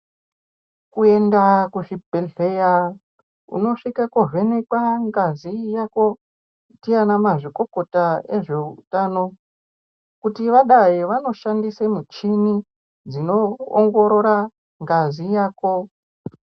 Kuenda kuzvibhedhleya unosvika kuvhenekwa ngazi yako ndiana mazvikokota ezveutano. Kuti vadai vanoshandise muchini dzinoongorora ngazi yako.